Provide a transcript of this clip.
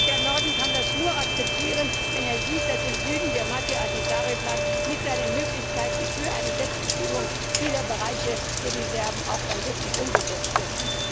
Der Norden kann das nur akzeptieren, wenn er sieht, dass im Süden der Martti Ahtisaari Plan mit seinen Möglichkeiten für eine Selbstbestimmung vieler Bereiche für die Serben auch dann wirklich umgesetzt wird.